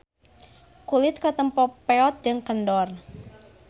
Kulit katempo peot jeung kendor.